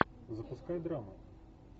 запускай драму